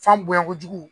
F'an bonya kojugu